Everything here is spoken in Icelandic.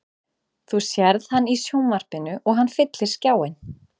Þú sérð hann í sjónvarpinu og hann fyllir skjáinn.